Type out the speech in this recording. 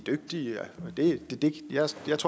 dygtige